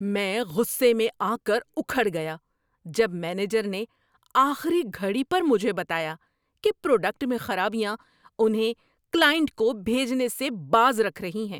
میں غصے میں آ کر اُکھڑ گیا جب مینیجر نے آخری گھڑی پر مجھے بتایا کہ پراڈکٹ میں خرابیاں انہیں کلائنٹ کو بھیجنے سے باز رکھ رہی ہیں۔